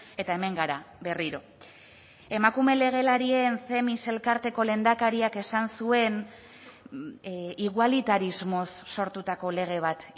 eta hemen gara berriro emakume legelarien themis elkarteko lehendakariak esan zuen igualitarismoz sortutako lege bat